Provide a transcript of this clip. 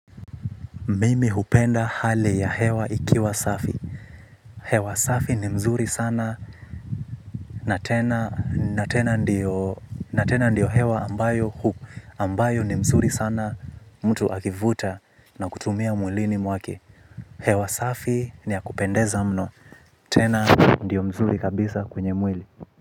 Mimi hupenda hali ya hewa ikiwa safi. Hewa safi ni mzuri sana na tena ndio hewa ambayo ni mzuri sana mtu akivuta na kutumia mwilini mwake. Hewa safi ni ya kupendeza mno. Tena ndio mzuri kabisa kwenye mwili.